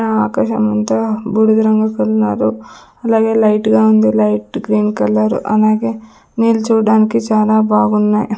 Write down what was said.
ఆ ఆకాశమంతా బూడిద రంగు అలాగే లైట్ గా ఉంది లైట్ గ్రీన్ కలర్ అలాగే నీళ్లు చూడడానికి చాలా బాగున్నాయి.